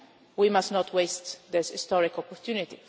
We must not waste this historic opportunity.